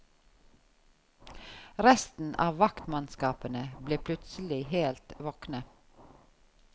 Resten av vaktmannskapene ble plutselig helt våkne.